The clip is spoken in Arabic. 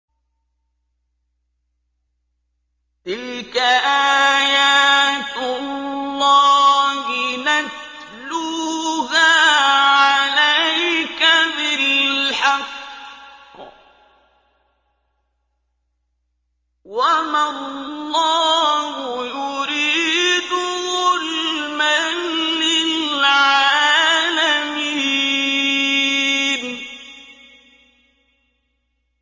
تِلْكَ آيَاتُ اللَّهِ نَتْلُوهَا عَلَيْكَ بِالْحَقِّ ۗ وَمَا اللَّهُ يُرِيدُ ظُلْمًا لِّلْعَالَمِينَ